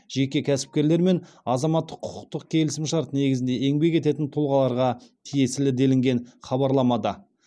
жеке кәсіпкерлер мен азаматтық құқықтық келісімшарт негізінде еңбек ететін тұлғаларға тиесілі делінген хабарламада